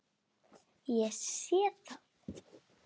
Ég sé það.